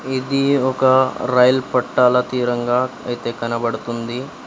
ఇది ఒక రైలు పట్టాల తీరంగా అయితే కనబడుతుంది.